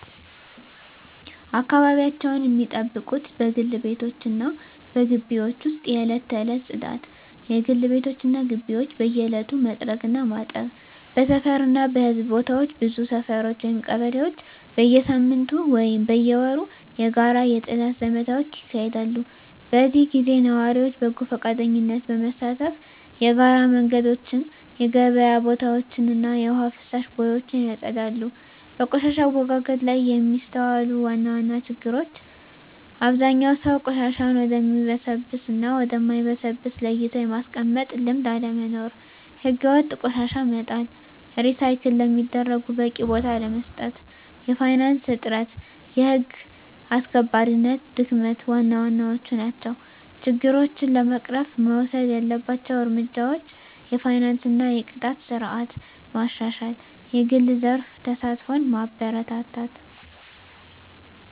አካባቢያቸውን ሚጠብቁት በግል ቤቶች እና በግቢዎች ውስጥ የዕለት ተዕለት ጽዳት: የግል ቤቶች እና ግቢዎች በየዕለቱ መጥረግ እና ማጠብ። በሰፈር እና በሕዝብ ቦታዎች ብዙ ሰፈሮች (ቀበሌዎች) በየሳምንቱ ወይም በየወሩ የጋራ የጽዳት ዘመቻዎች ያካሂዳሉ። በዚህ ጊዜ ነዋሪዎች በጎ ፈቃደኝነት በመሳተፍ የጋራ መንገዶችን፣ የገበያ ቦታዎችን እና የውሃ ፍሳሽ ቦዮችን ያጸዳሉ። በቆሻሻ አወጋገድ ላይ የሚስተዋሉ ዋና ዋና ችግሮች አብዛኛው ሰው ቆሻሻን ወደሚበሰብስ እና ወደ ማይበሰብስ ለይቶ የማስቀመጥ ልምድ አለመኖር። ሕገወጥ ቆሻሻ መጣል፣ ሪሳይክል ለሚደረጉት በቂ ቦታ አለመስጠት፣ የፋይናንስ እጥረት፣ የህግ አስከባሪነት ድክመት ዋና ዋናዎቹ ናቸው። ችግሮችን ለመቅረፍ መወሰድ ያለባቸው እርምጃዎች የፋይናንስ እና የቅጣት ስርዓት ማሻሻል፣ የግል ዘርፍ ተሳትፎን ማበረታታት፣ …